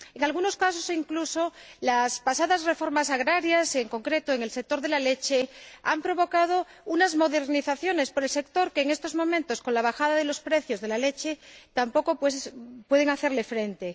En algunos casos, incluso, las pasadas reformas agrarias, en concreto en el sector de la leche, han dado lugar a una modernización en el sector, a la que, en estos momentos, con la bajada de los precios de la leche, tampoco puede hacer frente.